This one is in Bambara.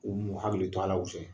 Ko n'u m'u hakili to a la kosɛbɛ.